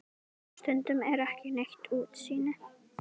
Stundum er ekki neitt útsýni!